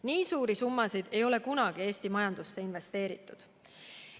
Nii suuri summasid ei ole kunagi Eesti majandusse investeeritud.